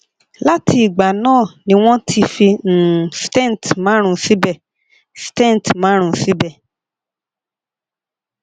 lati igba na ni won ti fi um stent marun sibe stent marun sibe